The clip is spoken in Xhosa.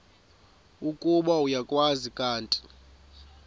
ukuba uyakwazi kanti